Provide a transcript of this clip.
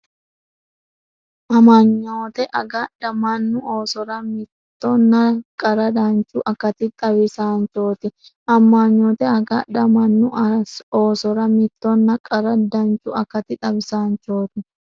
Amanyoote agadha mannu oosora mittonna qara danchu akati xaw- isaanchooti Amanyoote agadha mannu oosora mittonna qara danchu akati xaw- isaanchooti.